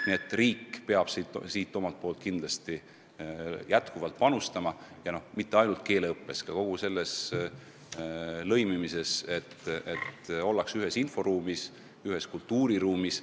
Nii et riik peab omalt poolt kindlasti jätkuvalt panustama ja mitte ainult keeleõppes, vaid kogu lõimimises, et oldaks ühes inforuumis, ühes kultuuriruumis.